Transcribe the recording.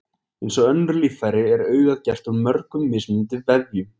Eins og önnur líffæri er augað gert úr mörgum mismunandi vefjum.